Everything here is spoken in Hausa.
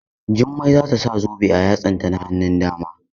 Jummai za ta sa zobe a yatsanta na hannun dama.